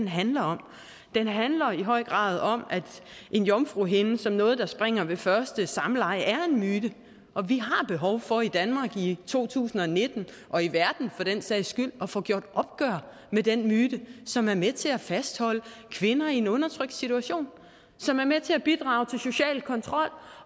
handler om den handler i høj grad om at en jomfruhinde som noget der springer ved første samleje er en myte og vi har behov for i danmark i to tusind og nitten og i verden for den sags skyld at få gjort op med den myte som er med til at fastholde kvinder i en undertrykkende situation som er med til at bidrage til social kontrol